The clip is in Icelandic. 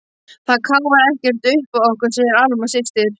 Það káfar ekkert uppá okkur, segir Alma systir.